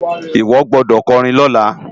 Iwo gbòdò kòrin lòlá